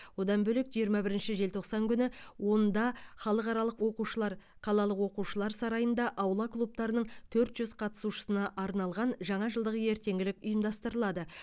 одан бөлек жиырма бірінші желтоқсан күні онда халықаралық оқушылар қалалық оқушылар сарайында аула клубтарының төрт жүз қатысушысына арналған жаңа жылдық ертеңгілік ұйымдастырылады